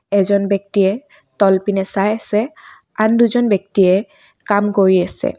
এজন ব্যক্তিয়ে তলপিনে চাই আছে আন দুজন ব্যক্তিয়ে কাম কৰি আছে।